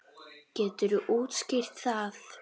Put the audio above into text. Geturðu útskýrt það?